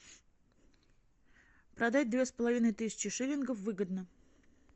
продать две с половиной тысячи шиллингов выгодно